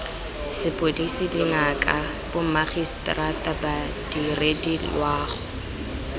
sepodisi dingaka bomagiseterata badiredi loago